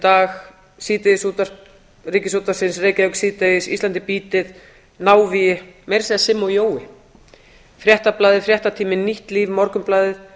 ísland í dag síðdegisútvarp ríkisútvarpsins reykjavík síðdegis ísland í býtið návígi meira að segja simmi og jói fréttablaðið fréttatíminn nýtt líf morgunblaðið